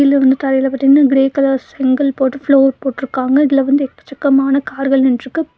கீழ வந்து தரையில பாத்தீங்கன்னா க்ரே கலர் செங்கல் போட்டு ஃப்ளோர் போட்ருக்காங்க இதுல வந்து எக்கச்சக்கமான கார்கள் நின்ட்ருக்கு.